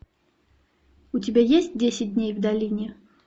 у тебя есть десять дней в долине